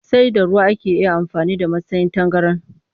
Sai da ruwa ake iya amfani da masan tangaran